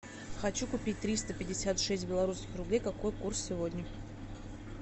хочу купить триста пятьдесят шесть белорусских рублей какой курс сегодня